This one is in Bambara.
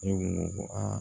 E ko ko aa